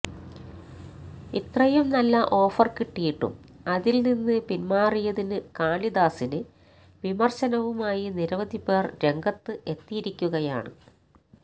ഇത്രയും നല്ല ഓഫര് കിട്ടിയിട്ടും അതില് നിന്ന് പിന്മാറിയതിന് കാളിദാസിന് വിമര്ശനവുമായി നിരവധിപേര് രംഗത്ത് എത്തിയിരിക്കുകയാണ്